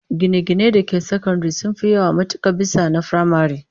Gine-ginen da ke sakandare sun fi yawa matuka bisa na firamare